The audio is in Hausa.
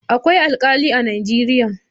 Akwai Alkali a Najeriya.